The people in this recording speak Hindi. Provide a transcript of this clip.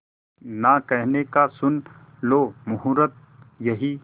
ना कहने का सुन लो मुहूर्त यही